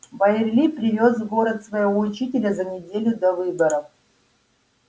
байерли привёз в город своего учителя за неделю до выборов